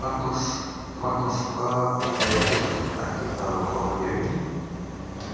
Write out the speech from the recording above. Magnús: Hvað með ríkisvaldið, ætti það að koma hérna inn í?